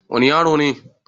wani yaro ne